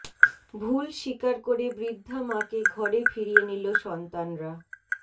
ভুল স্বীকার করে বৃদ্ধা মাকে ঘরে ফিরিয়ে নিল সন্তানরা